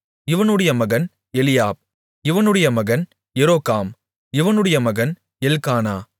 இவனுடைய மகன் எலியாப் இவனுடைய மகன் எரோகாம் இவனுடைய மகன் எல்க்கானா